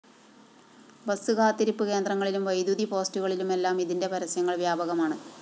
bus കാത്തിരിപ്പ് കേന്ദ്രങ്ങളിലും വൈദ്യുതി പോസ്റ്റുകളിലുമെല്ലാം ഇതിന്റെ പരസ്യങ്ങള്‍ വ്യാപകമാണ്